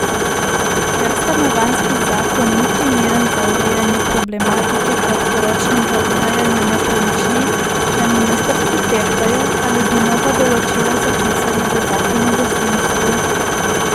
Ker stanovanjski zakon ni primeren za urejanje problematike kratkoročnega oddajanja nepremičnin, na ministrstvu tehtajo, ali bi nova določila zapisali v zakon o gostinstvu.